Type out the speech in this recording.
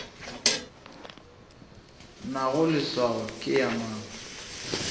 nago leswao ke ya mang